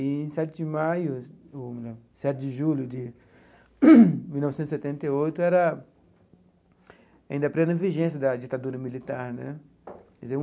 E, em sete de maio ou não sete de julho de mil novecentos e setenta e oito, era ainda plena vigência da ditadura militar né.